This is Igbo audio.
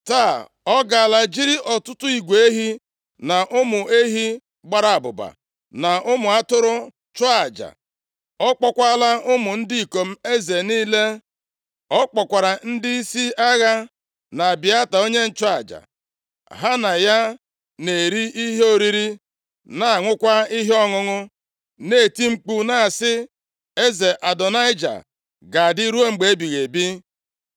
Taa, ọ gaala jiri ọtụtụ igwe ehi, na ụmụ ehi gbara abụba, na ụmụ atụrụ chụọ aja. Ọ kpọọkwala ụmụ ndị ikom eze niile. Ọ kpọkwara ndịisi agha, na Abịata onye nchụaja. Ha na ya na-eri ihe oriri, na-aṅụkwa ihe ọṅụṅụ, na-eti mkpu na-asị, ‘Eze Adonaịja ga-adị ruo mgbe ebighị ebi.’